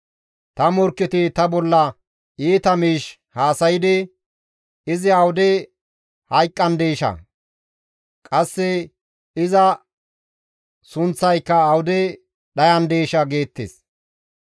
Ta morkketi ta bolla iita miish haasaydi, «Izi awude hayqqandeeshaa? Qasse iza sunththayka awude dhayandeeshaa?» geettes.